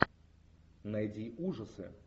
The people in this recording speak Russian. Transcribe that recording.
найди ужасы